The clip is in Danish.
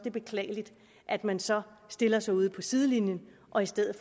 er beklageligt at man så stiller sig ude på sidelinjen og i stedet